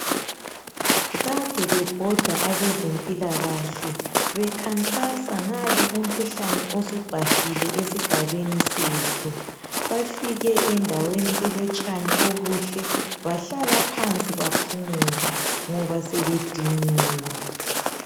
Kade bebhoda abezempilakahle bekhankasa ngalo umkhuhlane osubhahile esigabeni sethu. Bafike endaweni elotshani obuhle bahlala phansi baphumula ngoba sebediniwe.